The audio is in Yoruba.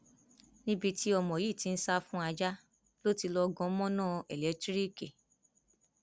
níbi tí ọmọ yìí ti ń sá fún ajá ló ti lọọ gan mọnà eléńtìríìkì